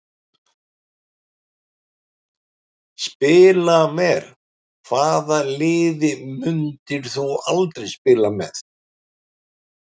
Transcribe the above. Spila vel Hvaða liði myndir þú aldrei spila með?